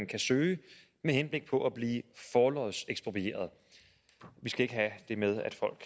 kan søge med henblik på at blive forlodseksproprieret for vi skal ikke have det med at folk